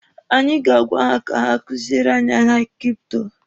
Anyị ga-agwa ha ka ha kuziele anyị ahịa kripto.